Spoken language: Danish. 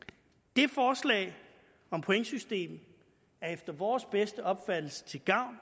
det forslag om pointsystem er efter vores bedste opfattelse til gavn